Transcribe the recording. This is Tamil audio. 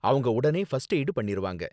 அவங்க உடனே ஃபர்ஸ்ட் எய்டு பண்ணிருவாங்க